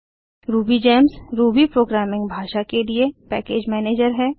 RubyGems Ruby programming भाषा के लिए पैकेज मैनेजर है